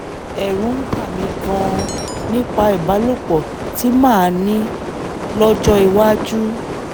ẹ̀rù ń bà mí gan-an nípa ìbálòpọ̀ tí màá ní lọ́jọ́ iwájú